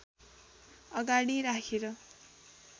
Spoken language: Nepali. अगाडि राखेर